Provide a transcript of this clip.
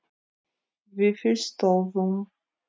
Vífilsstöðum